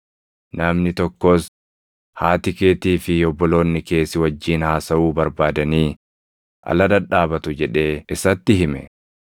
Namni tokkos, “Haati keetii fi obboloonni kee si wajjin haasaʼuu barbaadanii ala dhadhaabatu” jedhee isatti hime.